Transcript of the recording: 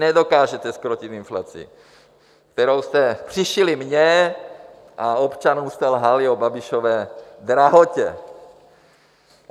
Nedokážete zkrotit inflaci, kterou jste přišili mně a občanům jste lhali o Babišově drahotě.